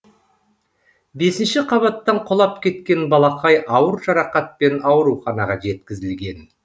бесінші қабаттан құлап кеткен балақай ауыр жарақатпен ауруханаға жеткізілген